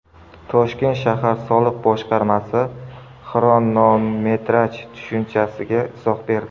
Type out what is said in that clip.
Toshkent shahar soliq boshqarmasi xronometraj tushunchasiga izoh berdi.